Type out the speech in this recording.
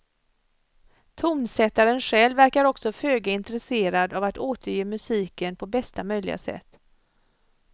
Tonsättaren själv verkar också föga intresserad av att återge musiken på bästa möjliga sätt.